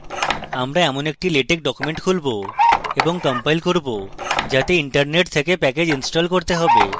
আমরা এমন একটি latex document খুলব এবং compile করব যাতে internet থেকে প্যাকেজ install করতে হবে